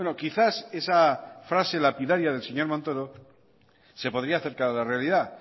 quizás esa frase lapidaria del señor montoro se podría acercar a la realidad